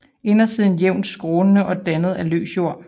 Indersiden jævnt skrånende og dannet af løs jord